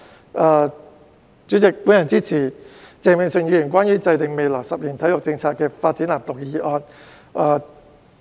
代理主席，我支持鄭泳舜議員關於"制訂未來十年體育政策及發展藍圖"的議案。